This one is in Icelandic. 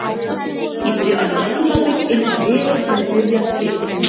Ég byrja öll tímabil eins og liðið hefur byrjað svipað.